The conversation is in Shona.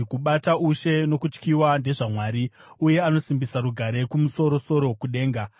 “Kubata ushe nokutyiwa ndezvaMwari; uye anosimbisa rugare kumusoro-soro kudenga.